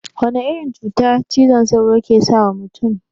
Wana irin cuta cizon sauro yake sawa mutun?